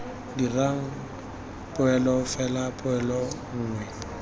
dirang poelo fela poelo nngwe